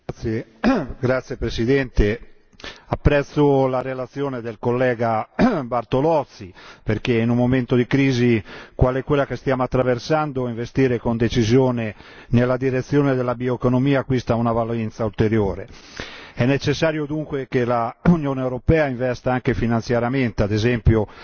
Signor Presidente, onorevoli colleghi, apprezzo la relazione dell'on. Bartolozzi perché, in un momento di crisi come quello che stiamo attraversando, investire con decisione nella direzione della bioeconomia acquista una valenza ulteriore. È necessario dunque che l'Unione europea investa anche finanziariamente, ad esempio